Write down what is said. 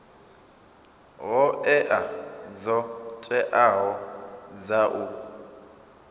hoea dzo teaho dza u